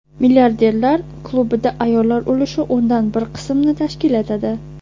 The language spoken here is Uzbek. Milliarderlar klubida ayollar ulushi o‘ndan bir qismni tashkil etadi.